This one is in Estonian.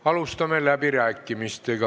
Alustame läbirääkimisi.